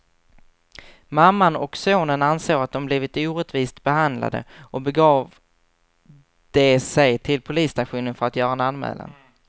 Mamman och sonen ansåg att de blivit orättvist behandlade och begav de sig till polisstationen för att göra en anmälan.